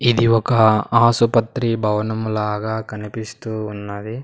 ఇది ఒక ఆసుపత్రి భవనము లాగా కనిపిస్తూ ఉన్నది.